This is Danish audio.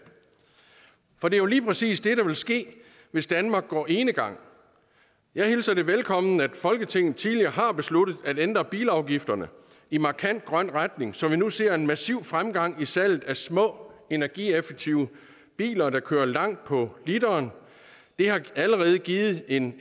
for det er jo lige præcis det der vil ske hvis danmark går enegang jeg hilser det velkommen at folketinget tidligere har besluttet at ændre bilafgifterne i markant grøn retning så vi nu ser en massiv fremgang i salget af små energieffektive biler der kører langt på literen det har allerede givet en